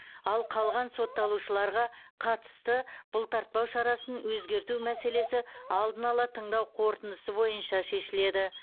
ал қалған сотталушыларға қатысты бұлтартпау шарасын өзгерту мәселесі алдын ала тыңдау қорытындысы бойынша шешіледі